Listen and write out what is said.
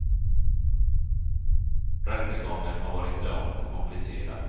Rättegången har varit lång och komplicerad.